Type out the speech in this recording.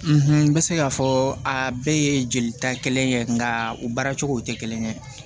n bɛ se k'a fɔ a bɛɛ ye jelita kelen ye nka u baara cogo tɛ kelen ye